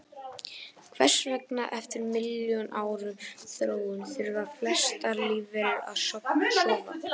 Hvers vegna, eftir milljóna ára þróun, þurfa flestar lífverur að sofa?